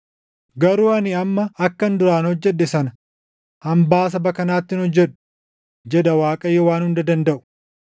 Garuu ani amma akkan duraan hojjedhe sana hambaa saba kanaatti hin hojjedhu” jedha Waaqayyo Waan Hunda Dandaʼu.